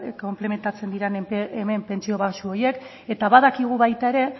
konplementatzen diren hemen pentsio baxu horiek eta badakigu baita ere